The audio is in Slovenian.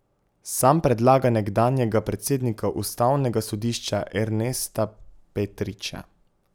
Sam predlaga nekdanjega predsednika ustavnega sodišča Ernesta Petriča.